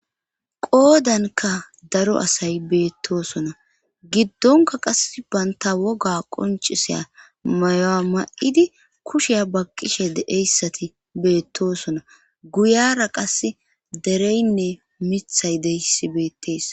Qoodanka daro asay beettoosona giddonka qass baynta woga qoncisiya mayoa ma'idi kusheya baqqishe deeyssati beettoosona guyara qase dereynne mithay deyssi beettees.